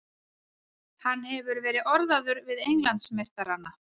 Hann hefur verið orðaður við Englandsmeistarana.